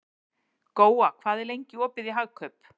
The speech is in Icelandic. Góa, hvað er lengi opið í Hagkaup?